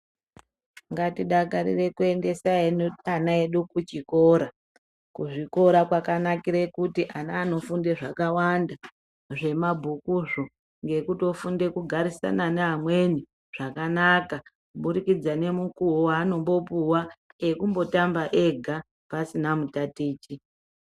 Ngatidakarire kuendese ana edu kuchikora. Kuzvikora kwakanakire kuti ana anofunde zvakawanda zvemabhukuzvo nekutofunda kugarisane neamweni zvakanaka kubudikidza nemukuwo weanombopuwa wekumbotamba ega pasina mutatichi.